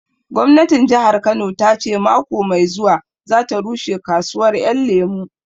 Gwamnatin Jahar Kano ta ce mako mai zuwa za ta rushe kasuwar Ƴan Lemu